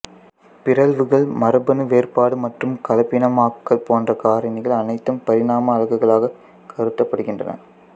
பிறழ்வுகள் மரபணு வேறுபாடு மற்றும் கலப்பினமாக்கல் போன்ற காரணிகள் அனைத்தும் பரிணாம அலகுகளாகக் கருதப்படுகின்றன